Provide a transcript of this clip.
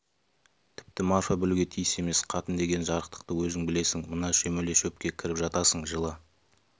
тіпті марфа білуге тиіс емес қатын деген жарықтықты өзің білесің мына шөмеле шөпке кіріп жатасың жылы